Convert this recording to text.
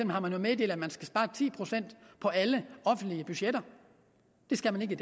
har man jo meddelt at man skal spare ti procent på alle offentlige budgetter det skal man ikke i